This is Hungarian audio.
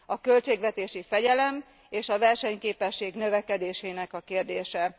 A költségvetési fegyelem és a versenyképesség növekedésének a kérdése.